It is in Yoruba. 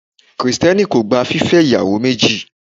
Krìstenì kó gbá fífe iyawo mejí